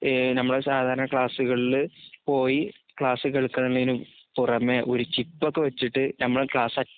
ഏഹ് ഞമ്മടെസാധാരണക്ലാസ്സുകളില് പോയി ക്ലാസ്സുകേൾക്കാന്നേനും പുറമെ ഒരുചിപ്പൊക്കെവച്ചിട്ട് ഞമ്മള്ക്ലാസ്സക്